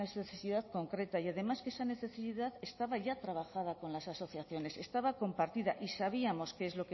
necesidad concreta y además que esa necesidad estaba ya trabajada con las asociaciones estaba compartida y sabíamos qué es